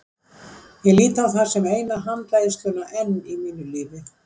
Ég lít á það sem eina handleiðsluna enn í mínu lífi.